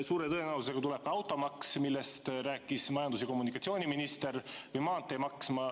Suure tõenäosusega tuleb automaks, millest rääkis majandus- ja kommunikatsiooniminister, ja maanteemaks.